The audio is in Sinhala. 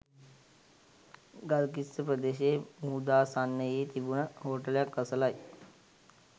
ගල්කිස්ස ප්‍රදේශයේ මුහුදාසන්නයේ තිබුණ හෝටලයක් අසලයි.